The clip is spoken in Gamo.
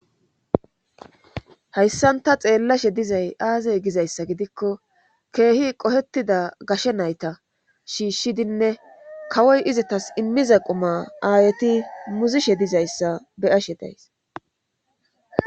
hayssanta xeellashe dizay aazey gizayssa gidikko keehi qohetida gashe nayta shiishshidinne kawoy izitas immiza quma aayeti muzishe dizayssa beyashe days